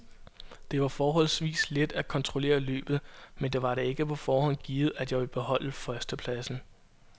Det var forholdsvis let at kontrollere løbet, men det var da ikke på forhånd givet, at jeg ville beholde førstepladsen.